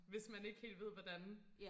hvis man ikke helt ved hvordan